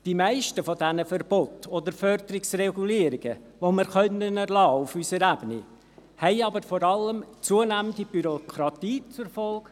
Die meisten dieser Verbote oder Förderungsregulierungen, die wir auf unserer Ebene erlassen können, haben aber vor allem eine zunehmende Bürokratie zur Folge;